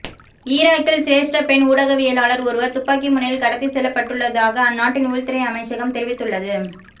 ஈராக்கில் சிரேஸ்ட பெண் ஊடகவியலாளர் ஒருவர் துப்பாக்கி முனையில் கடத்தி செல்லப்பட்டுள்ளதாக அந்நாட்டின் உள்துறை அமைச்சகம் தெரிவித்துள்ளது